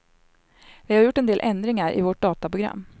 Vi har gjort en del ändringar i vårt dataprogram.